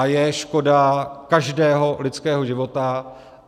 A je škoda každého lidského života.